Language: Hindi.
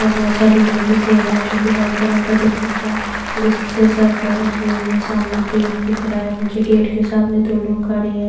ये बहुत सारी लेडीज हैं जो कि वाइट कलर का दुपट्टा से सर कवर किए हुई हैं सामने गेट दिख रहा है मुझे गेट के सामने दो लोग खड़े हैं।